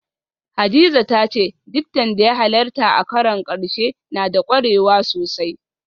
Hadiza ta ce diktan da ya halarta a karon karshe na da kwarewa sosai